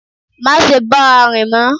Má se bá a rìn mọ́